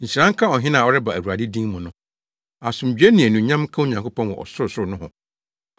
“Nhyira nka ɔhene a ɔreba Awurade din mu no!” “Asomdwoe ne anuonyam nka Onyankopɔn wɔ ɔsorosoro nohɔ!”